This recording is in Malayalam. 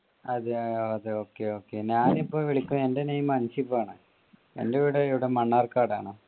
അതെ അതെ okay okay ഞാൻ ഇപ്പൊ വിളിക്കുന്ന എന്റെ name അൻഷിബ് ആണ് എന്റെ വീട് ഇവിടെ മണ്ണാർക്കാട് ആണ്.